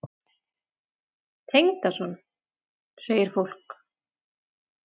Tengdason? segir fólk.